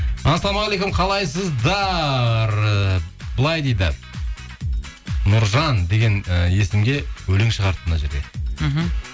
ассалаумағалейкум қалайсыздар і былай дейді нұржан деген ііі есімге өлең шығарыпты мына жерде мхм